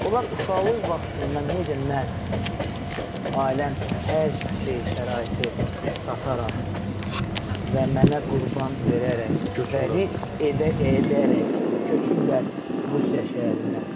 Onlar uşaqlıq vaxtından necə mən ailəm hər şeyi şəraiti sataraq və mənə qurban verərək risk edə-edərək köçüblər Rusiya şəhərinə.